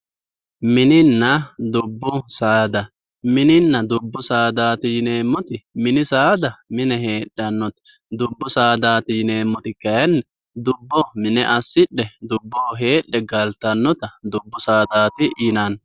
Mininna dubbu saada Mininna dubbu saadaati yineemmoti mini saada mine heedhannote dubbu saada yineemmoti kayiinni dubboho mine assidhe dubboho heedhe galtannota dubbu saadati yinanni.